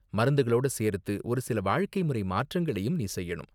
மருந்துகளோட சேர்த்து ஒரு சில வாழ்க்கை முறை மாற்றங்களையும் நீ செய்யணும்.